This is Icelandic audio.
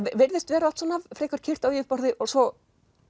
virðist vera allt svona frekar kyrrt á yfirborði og svo